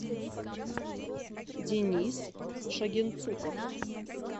денис шагенцуков